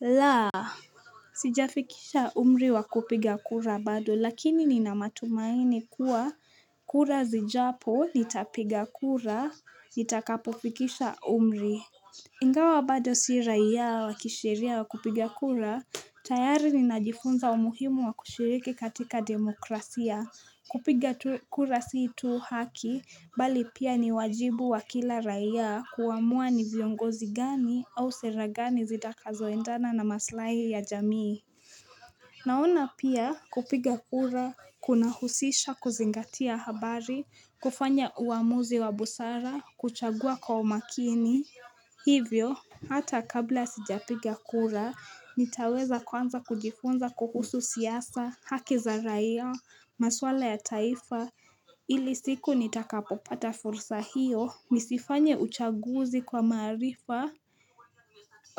La sijafikisha umri wa kupiga kura bado lakini ni na matumaini kuwa kura zijapo nitapiga kura nitakapofikisha umri Ingawa bado si raiya wa kisheria wa kupiga kura, tayari ni najifunza umuhimu wa kushiriki katika demokrasia. Kupiga kura si tu haki, bali pia ni wajibu wa kila raia kuamua ni viongozi gani au sera gani zitaka zoendana na maslahi ya jamii. Naona pia kupiga kura, kuna husisha kuzingatia habari, kufanya uamuzi wa busara, kuchagua kwa umakini. Hivyo, hata kabla sijapiga kura, nitaweza kwanza kujifunza kuhusu siasa, haki za raia, maswala ya taifa ili siku nitakapopata fursa hiyo, nisifanye uchaguzi kwa maarifa